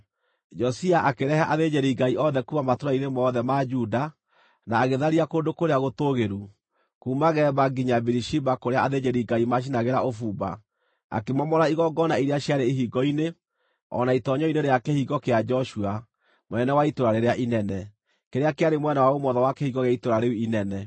Josia akĩrehe athĩnjĩri-Ngai othe kuuma matũũra-inĩ mothe ma Juda, na agĩtharia kũndũ kũrĩa gũtũũgĩru, kuuma Geba nginya Birishiba kũrĩa athĩnjĩri-ngai maacinagĩra ũbumba, akĩmomora igongona iria ciarĩ ihingo-inĩ, o na itoonyero-inĩ rĩa Kĩhingo kĩa Joshua, mũnene wa itũũra rĩrĩa inene, kĩrĩa kĩarĩ mwena wa ũmotho wa kĩhingo gĩa itũũra rĩu inene.